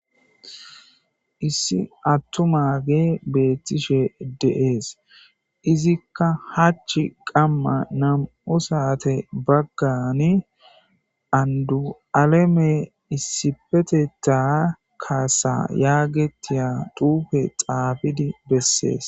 Issi attumage beettishe dees. Izikka hachi qamman nam'u saate baggani andu'aleme issipetetha kaasa yaagetiya xuufe xaafidi bessees.